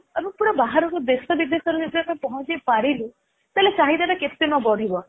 ପୁରା ବାହାରକୁ ଦେଶ ବିଦେଶରେ ଯଦି ଆମେ ପହଞ୍ଚେଇ ପାରିଲୁ ତାହାଲେ ଚାହିଦା ଟା କେତେ ନ ବଢିବ